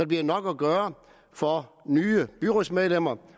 bliver nok at gøre for nye byrådsmedlemmer